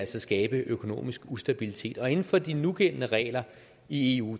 skabe økonomisk ustabilitet og inden for de nugældende regler i eu